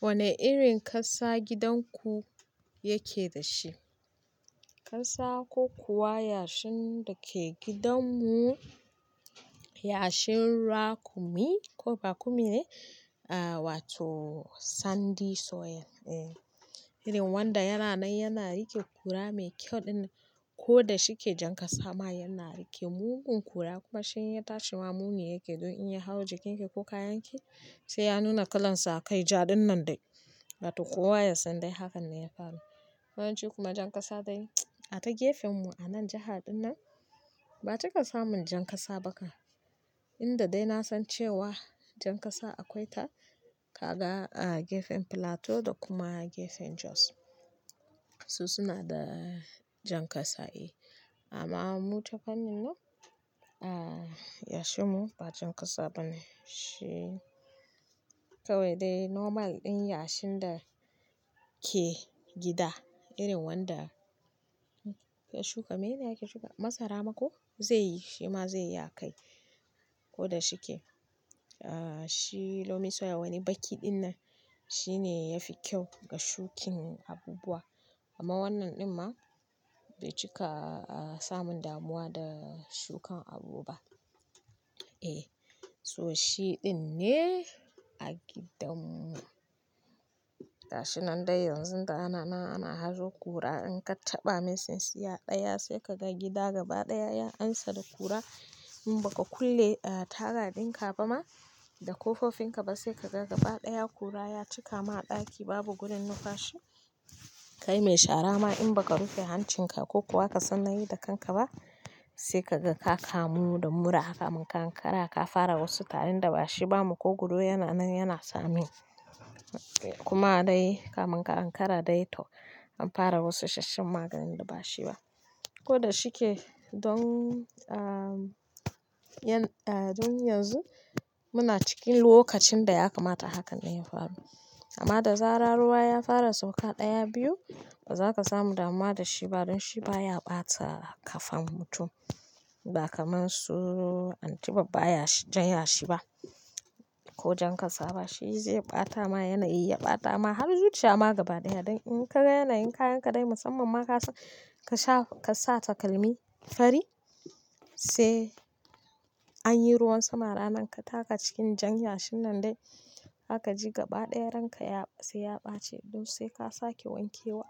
Wane irin ƙasa gidanku yake da shi? Ƙasa ko kuwa yashin da ke gidanmu yashin rakumi ko ba kumi ne, wato sandy soil eh, irin wanda yana nan yana riƙe kura mai kyau ɗin ko da shike jan ƙasa ma yana riƙe mugun kura kuma shi in yatashi ma muni yake don in ya hau jikinki ko kayanki sai ya nuna kalan sa a kai jaɗin nan dai wato ko wa yasan dai hakan ne ya faru. Yawanci kuma jan ƙasa dai a ta gefen mu a nan jiha dinnan ba a cika samun jan ƙasa ba kan, inda dai nasan cewa jan ƙasa akwai ta ka ga a gefen Plateau da kuma gefen Jos su suna da jan ƙasa e amma mu ta fannin nan a yashin mu ba jan ƙasa bane shi kawai dai normal din yashin da ke gida irin wanda ka shuka meye ne ake shuka masara mako zeyi shi ma zeyi a kai ko da shike. Shi loamy soil wani baki dinnan shi ne yafi kyau ga shukin abubuwa amman wannan dinnan ma bai cika samun damuwa da shukan abuba. E so shi dinne a gidanmu. Gashi nan dai yanzu da ana nan ana hazo kura in ka taɓa mai tsintsiya ɗaya sai kaga gida gaba ɗaya ya ansa da kura in baka kulle tagaɗinka ba ma da kofofinka ba sai kaga gaba ɗaya ƙura ya cika ma a ɗaki babu gurin numfashi kai mai shara ma in baka rufe hancinka ko kuwa ka san na yi da kanka ba sai kaga ka kamu da mura kamun ka ankara ka fara wasu tarin da bashi ba ko gudu yana nan yana sami kuma dai kamun ka ankara dai to an fara wasu shasshan maganin da bashi ba. Ko da shike don yan-- don yanzu muna cikin lokacin da ya kamata hakan din ya faru amma da zara ruwa ya fara sauka ɗaya biyu bazaka samu damuwa da shi ba don shi baya ɓata kafan mutum ba kaman su Aunty babba ya shi jan yashi ba ko jan ƙasa ba shi zai ɓata ma yanayi ya ɓata ma har zuciya ma gaba ɗaya don in ka ga yanayin kayanka dai musamman ma ka sa-- ka sha-- ka sa takalmi fari sai anyi ruwan sama ranan ka taka cikin jan yashin nan dai zaka ji gaba ɗayan ranka ya sai ya ɓaci don sai ka sake wanke wa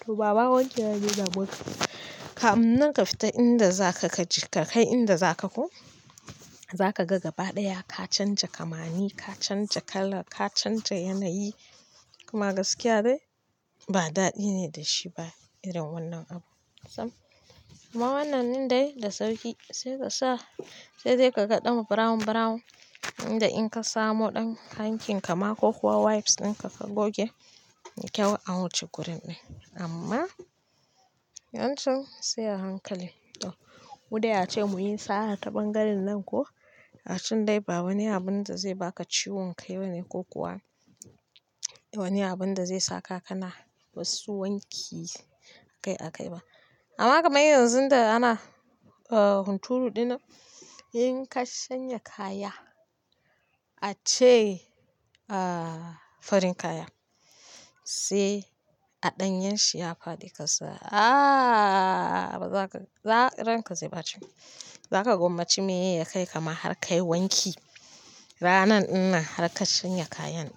to ba ma wankewan ne damuwarka ba kamin nan ka fita inda zaka ka je ka kai inda zaka ko zaka ga gaba ɗaya ka canja kamani ka canja kala ka canja yanayi kuma gaskiya dai ba daɗi ne da shi ba irin wannan abu sam amma wannan ɗin dai da sauki sai ka sa sai dai ka gaɗan brown brown inda in ka samo ɗan hankin kama ko kuwa wipes dinka ka goge kyau an wuce gurin din amma yanchan sai a hankali to. Mudai ace muyi sa'a ta ɓangaren nan ko a chan dai ba wani abun da zai baka ciwon kai bane ko kuwa wani abun da zai saka kana wasu wanki a kai a kai ba amma kaman yanzun da ana hunturu dinnan in ka shanye kaya ace farin kaya sai a ɗanyan shi ya faɗi ka sa bazaka-- za ranka zai ɓaci zaka gwammaci meye ya kai kama har ka yi wanki ranan innan har ka shanya kayan.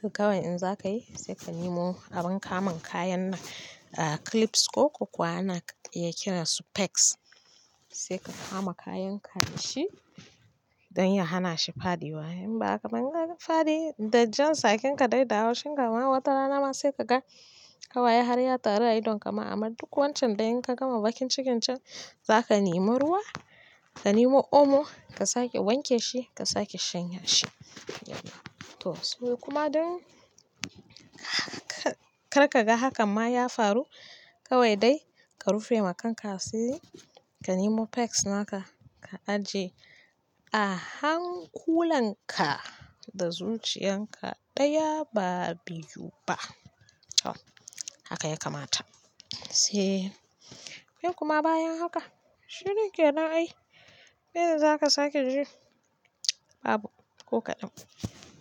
To kawai in za ka yi sai ka nemo abin kamun kayan nan clips ko ko kuwa ana ya ƙiransu pegs sai ka kama kayan ka da shi don ya hana shi faɗuwa in ba haka ba indai ya fadi da jan tsakinka dai da haushin kama watara nama sai kaga hawaye har ya taru a idon kama amma duk wancan dai in ka gama bakin cikin can zaka nemo ruwa ka nemo omo ka sake wanke shi ka sake shanya shi to. So kuma don kar ka ga hakan ma ya faru kawai dai ka rufe ma kanka asiri ka nemo pegs naka ka ajiye a hankulanka da zuciyanka ɗaya ba biyu ba to haka ya kamata sai in kuma bayan haka shine ke nan ai meye ne zaka sake ji babu ko kaɗan.